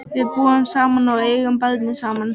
Við búum saman og eigum barnið saman.